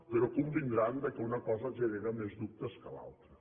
però convindran que una cosa genera més dubtes que l’altra